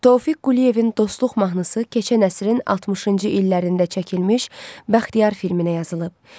Tofiq Quliyevin dostluq mahnısı keçən əsrin 60-cı illərində çəkilmiş Bəxtiyar filminə yazılıb.